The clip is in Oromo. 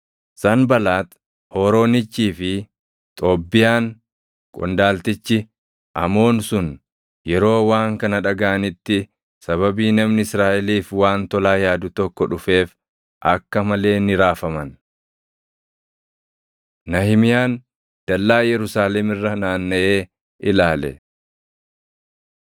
Sanbalaax Hooroonichii fi Xoobbiyaan qondaaltichi Amoon sun yeroo waan kana dhagaʼanitti sababii namni Israaʼeliif waan tolaa yaadu tokko dhufeef akka malee ni raafaman. Nahimiyaan Dallaa Yerusaalem Irra Naannaʼee Ilaale